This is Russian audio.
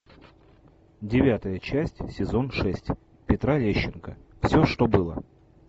девятая часть сезон шесть петра лещенко все что было